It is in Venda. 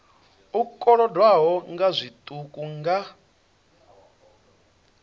u kolodwaho nga zwiṱuku nga